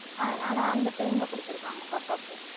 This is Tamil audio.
அதனால அந்த time ல கொடுத்திருக்காங்க பாப்பாக்கு